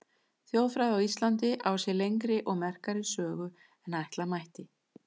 Þjóðfræði á Íslandi á sér lengri og merkari sögu en ætla mætti.